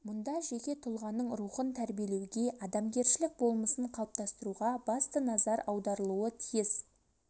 мұнда жеке тұлғаның рухын тәрбиелеуге адамгершілік болмысын қалыптастыруға басты назар аударылуы тиіс